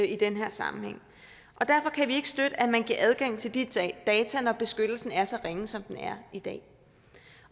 i den her sammenhæng og derfor kan vi ikke støtte at man giver adgang til de data når beskyttelsen er så ringe som den er i dag